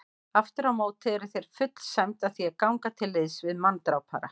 Afturámóti er þér full sæmd að því að ganga til liðs við manndrápara.